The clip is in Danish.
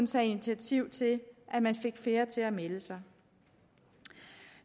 tage initiativ til at man fik flere til at melde sig